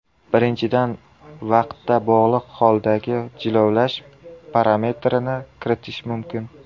Birinchidan, vaqtda bog‘liq holdagi jilovlash parametrini kiritish mumkin.